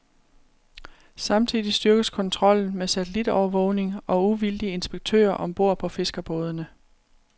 Samtidig styrkes kontrollen med satellitovervågning og uvildige inspektører om bord på fiskerbådene.